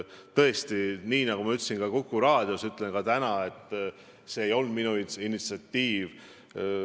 Tõesti, nii nagu ma ütlesin Kuku raadios, ütlen ka täna, et see ei olnud minu initsiatiiv.